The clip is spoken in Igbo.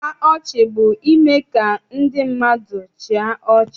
Mkpa ọchị bụ ime ka ndị mmadụ chịa ọchị.